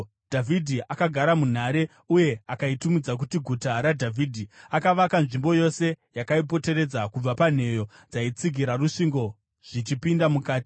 Dhavhidhi akagara munhare uye akaitumidza kuti Guta raDhavhidhi. Akavaka nzvimbo yose yakaipoteredza, kubva panheyo dzaitsigira rusvingo zvichipinda mukati.